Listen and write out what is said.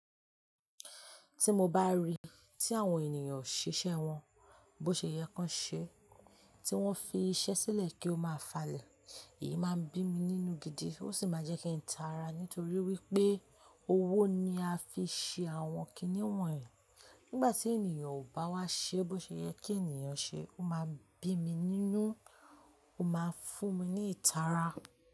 Ti mo ba rii ti àwọn ènìyàn ò ṣiṣẹ́ wọn bó ṣe yẹ kan ṣe, tí wọ́n fi iṣẹ́ sílẹ̀ kí ó máa falẹ̀, èyí máa ń bí mi nínú gidi ó sì máa jẹ́ kí n taara. Nítorí wípé owó ni a fi ṣe àwọn kiní wọ̀nyí. Nígbà tí ènìyàn ò bá wá ṣe bó ṣe yẹ kí ènìyàn ṣe, ó máa ń bí mi nínú, ó máa ń fún mi ní ìtara.